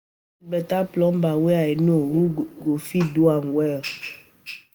E get beta plumber wey I know who go fit do am well